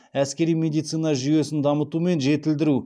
әскери медицина жүйесін дамыту мен жетілдіру